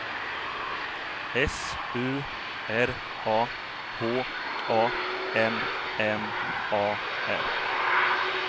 S U R A H A M M A R